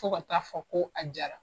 Fo ka ta fɔ ko a jara.